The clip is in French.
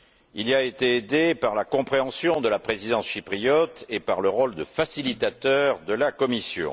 Il y a été aidé par la compréhension de la présidence chypriote et par le rôle de facilitateur de la Commission.